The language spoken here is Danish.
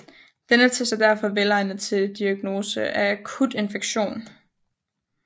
Denne test er derfor velegnet til diagnose af akut infektion